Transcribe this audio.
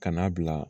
Ka n'a bila